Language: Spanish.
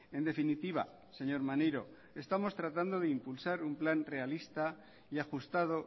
en definitiva señor maneiro estamos tratando de impulsar un plan realista y ajustado